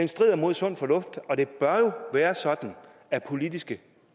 strider mod sund fornuft og det bør jo være sådan at politiske